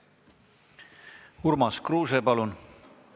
Urmas Kruuse, palun!